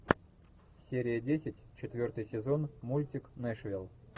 серия десять четвертый сезон мультик нэшвилл